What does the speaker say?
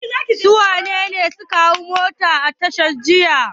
Su wane ne suka hau mota a tasha jiya?